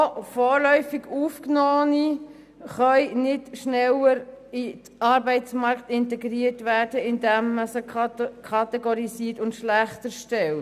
Auch vorläufig Aufgenommene können nicht schneller in den Arbeitsmarkt integriert werden, indem man sie kategorisiert und schlechter stellt.